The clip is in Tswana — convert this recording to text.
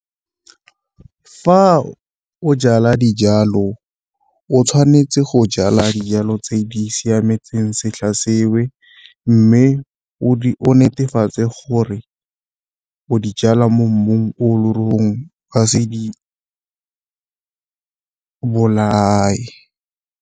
Fa o jala dijalo o tshwanetse go jala dijalo tse di siametseng setlha , mme o netefatse gore o di jala mo mmung o o ka se di bolae.